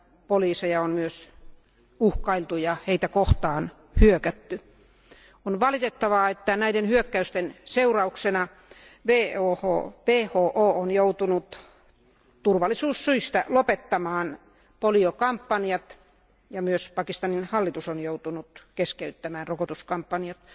poliiseja on myös uhkailtu ja heitä kohtaan on hyökätty. On valitettavaa, että näiden hyökkäysten seurauksena WHO on joutunut turvallisuussyistä lopettamaan poliokampanjat, ja myös Pakistanin hallitus on joutunut keskeyttämään rokotuskampanjat.